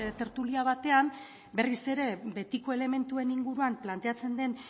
tertulia batean berriz ere betiko elementuen inguruan planteatzen den